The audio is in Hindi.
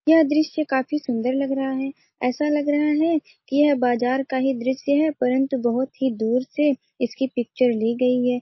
यह दृश्य काफी सुन्दर लग रहा है ऐसा लग रहा कि यह बाजार का ही दृश्य है परन्तु बहुत ही दूर से इसकी पिक्चर ली गई है।